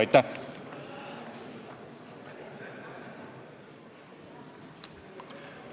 Aitäh!